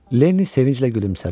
Lenni sevinclə gülümsədi.